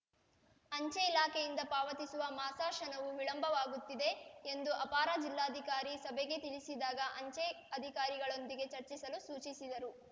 ಅಂಚೆ ಇಲಾಖೆಯಿಂದ ಪಾವತಿಸುವ ಮಾಸಾಶನವು ವಿಳಂಬವಾಗುತ್ತಿದೆ ಎಂದು ಅಪಾರ ಜಿಲ್ಲಾಧಿಕಾರಿ ಸಭೆಗೆ ತಿಳಿಸಿದಾಗ ಅಂಚೆ ಅಧಿಕಾರಿಗಳೊಂದಿಗೆ ಚರ್ಚಿಸಲು ಸೂಚಿಸಿದರು